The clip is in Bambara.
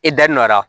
E da donna